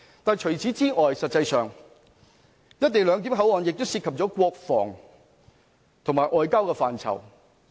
但除此之外，實際上，"一地兩檢"口岸亦涉及國防和外交的範疇。